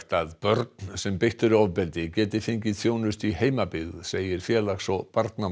að börn sem beitt eru ofbeldi geti fengið þjónustu í heimabyggð segir félags og